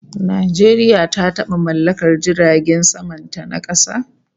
Najeriya ta taba mallakar jiragen saman ta na kasa